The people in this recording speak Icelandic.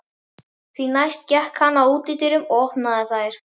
Því næst gekk hann að útidyrunum og opnaði þær.